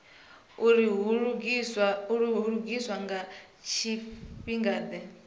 uri hu lugiswa nga tshifhingade